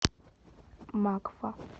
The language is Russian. макфа